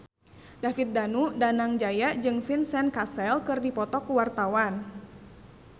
David Danu Danangjaya jeung Vincent Cassel keur dipoto ku wartawan